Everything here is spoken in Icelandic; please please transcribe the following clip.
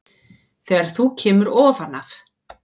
Þegar þú kemur ofan af